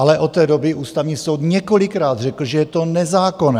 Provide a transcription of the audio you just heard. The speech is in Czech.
Ale od té doby Ústavní soud několikrát řekl, že je to nezákonné.